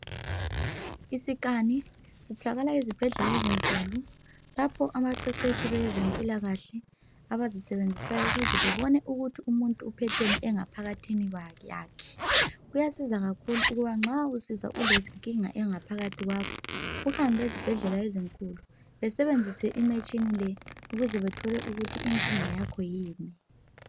Isikani sitholakala ezibhedlela ezinkulu lapho abaqeqetshi bezempilakahle abazisebenzisayo ukuze babone ukuthi umuntu uphetheni ngaphakathini yakhe. Kuyasiza kakhulu nxa usizwa ulenkinga engaphakathi kwakho uhambe ezibhedlela ezinkulu, basebenzise imitshina le ukuze bethole ukuthi inkinga yakho yini.